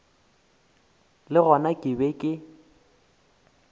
le gona ke be ke